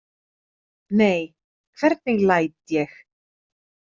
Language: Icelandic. Nei, hvernig læt ég.